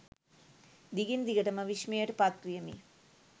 දිගින් දිගටම විස්මයට පත් වූයෙමි